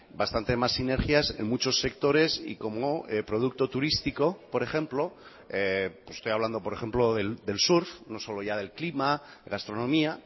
bastante más sinergias en muchos sectores y como producto turístico por ejemplo estoy hablando por ejemplo del surf no solo ya del clima gastronomía